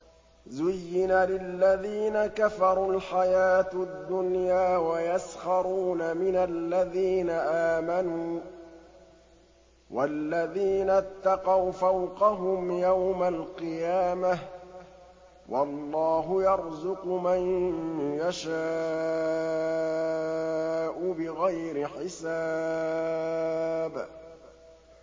زُيِّنَ لِلَّذِينَ كَفَرُوا الْحَيَاةُ الدُّنْيَا وَيَسْخَرُونَ مِنَ الَّذِينَ آمَنُوا ۘ وَالَّذِينَ اتَّقَوْا فَوْقَهُمْ يَوْمَ الْقِيَامَةِ ۗ وَاللَّهُ يَرْزُقُ مَن يَشَاءُ بِغَيْرِ حِسَابٍ